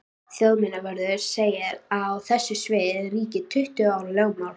Þjóðminjavörður segir að á þessu sviði ríki tuttugu ára lögmál.